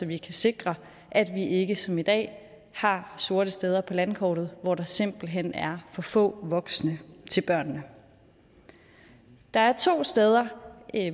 vi kan sikre at vi ikke som i dag har sorte steder på landkortet hvor der simpelt hen er for få voksne til børnene der er to steder